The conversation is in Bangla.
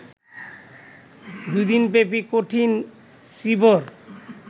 দু'দিনব্যাপী কঠিন চীবর